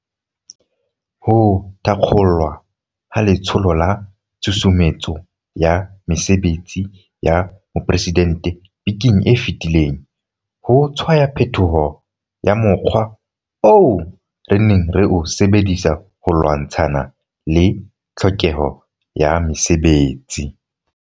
Ho thakgolwa ha Letsholo la Tshusumetso ya Mesebetsi ya Mopresidente bekeng e fetileng ho tshwaya phetoho ya mo kgwa oo re neng re o sebedisa ho lwantshana le tlhokeho ya mesebetsi.